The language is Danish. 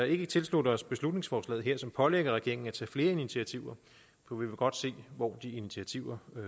ikke tilslutte os beslutningsforslaget her som pålægger regeringen at tage flere initiativer for vi vil godt se hvor de initiativer